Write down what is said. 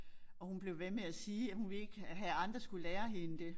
Og hun blev ved med at sige at hun ville ikke have andre skulle lære hende det